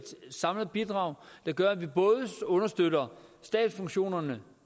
samlet bidrag der gør at vi både understøtter stabsfunktionerne